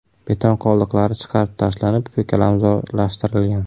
Beton qoldiqlari chiqarib tashlanib, ko‘kalamzorlashtirilgan.